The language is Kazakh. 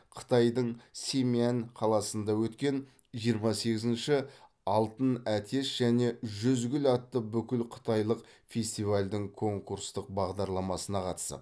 қытайдың семянь қаласында өткен жиырма сегізінші алтын әтеш және жүз гүл атты бүкілқытайлық фестивальдің конкурстық бағдарламасына қатысып